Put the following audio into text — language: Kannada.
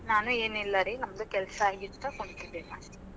ನಾನು ಏನ್ನಿಲ್ಲಾರಿ. ನಮ್ದು ಕೆಲ್ಸಾ ಆಗಿತ್, ಕುಂತಿದ್ಯಾ ನಾ ಅಷ್ಟೆ.